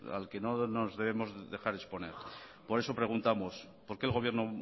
al que no nos debemos dejar exponer por eso preguntamos por qué el gobierno